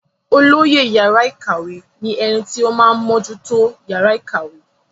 olóyè yàrá ìkàwé ní ẹni tí ó máa ń mójútó yàrá ìkàwé